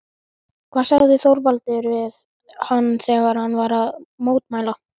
Hvað sagði Þorvaldur við hann þegar hann var að mótmæla?